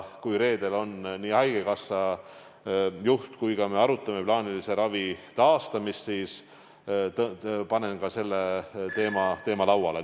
Kui me reedel haigekassa juhiga koos arutame plaanilise ravi taastamist, siis panen ka selle teema lauale.